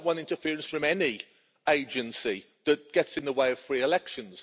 I don't want interference from any agency that gets in the way of free elections.